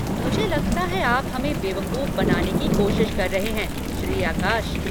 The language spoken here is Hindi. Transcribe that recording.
मुझे लगता है आप हमें बेवकूफ बनाने की कोशिश कर रहे हैं, श्री आकाश।